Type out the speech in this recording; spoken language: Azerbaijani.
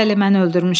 Bəli, mən öldürmüşəm.